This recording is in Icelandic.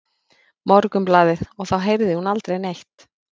Morgunblaðið og þá heyrði hún aldrei neitt.